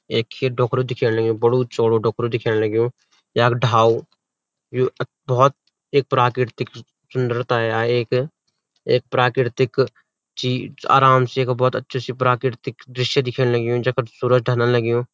एक खेत डोक्रू दिख्यान लग्युं बडू चौडू डोक्रू दिख्यान लग्युं यख ढाल यु बहौत एक प्राकृतिक सुन्दरता है एक एक प्राकृतिक चीज आराम से यख बहौत अछू सी प्राकृतिक दृश्य दिखेण लग्युं जख सूरज ढलन लग्युं।